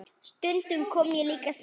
Stundum kom ég líka snemma.